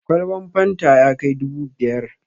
Kwalban fanta ya kai dubu biyar.